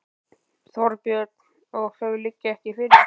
Þorbjörn: Og þau liggja ekki fyrir?